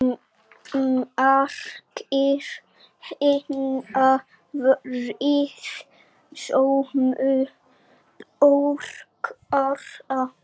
Margir hinna friðsömu borgara